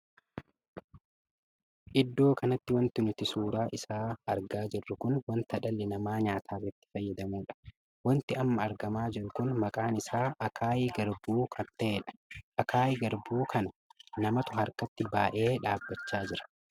Iddoo kanatti wanti nuti suuraa isaa argaa jirru kun wanta dhalli namaa nyaataaf itti fayyadamuudha. wanti amma argamaa jiru kun maqaan isaa akaayii garbuu kan taheedha. akaayii garbuu kan namatu harkatti baay'ee dhaabbachaa jira.